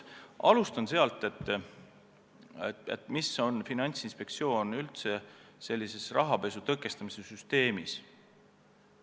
Alustan sellest, mis üldse on Finantsinspektsiooni roll rahapesu tõkestamise süsteemis.